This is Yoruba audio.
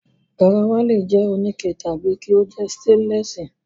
Garawa lè jẹ́ oníke tàbí kí ó jẹ́ sítéńlẹ̀sì.